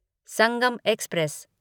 Sangam express